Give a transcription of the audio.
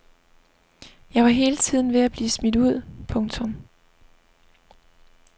Jeg var hele tiden ved at blive smidt ud. punktum